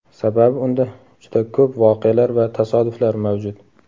Sababi unda juda ko‘p voqealar va tasodiflar mavjud.